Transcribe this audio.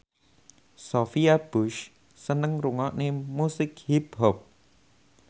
Sophia Bush seneng ngrungokne musik hip hop